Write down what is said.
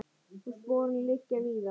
Og sporin liggja víða.